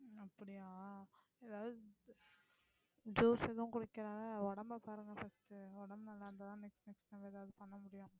அப்படியா எதாவது juice எதுவும் உடம்பைப் பாருங்க first உடம்பு நல்லா இருந்தா தான் next next நம்ம எதாவது பண்ண முடியும்